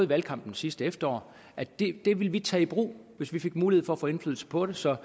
valgkampen sidste efterår at det det ville vi tage i brug hvis vi fik mulighed for at få indflydelse på det så